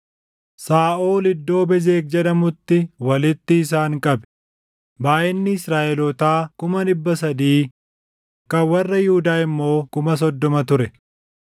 Saaʼol iddoo Bezeq jedhamutti walitti isaan qabe; baayʼinni Israaʼelootaa kuma dhibba sadii, kan warra Yihuudaa immoo kuma soddoma ture.